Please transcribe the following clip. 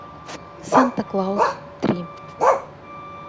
санта клаус три